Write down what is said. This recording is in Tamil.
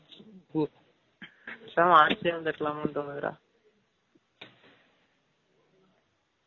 பூ பேசாம arts ஏ வந்து இருகலாம் தோனுது டா